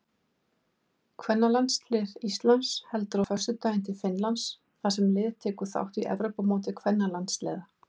Kvennalandslið Íslands heldur á föstudaginn til Finnlands þar sem liðið tekur þátt í Evrópumóti kvennalandsliða.